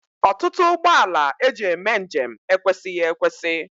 Ọtụtụ ụgbọala e ji eme njem ekwesịghị ekwesị